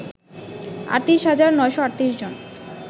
৩৮ হাজার ৯৩৮ জন